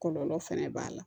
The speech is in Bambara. Kɔlɔlɔ fɛnɛ b'a la